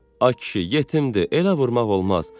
Ay kişi, yetimdir, elə vurmaq olmaz.